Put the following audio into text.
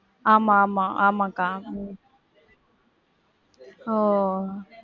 ஆமா ஆமா ஆமா கா. உம் ஒ.